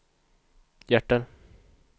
hjärter